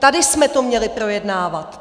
Tady jsme to měli projednávat.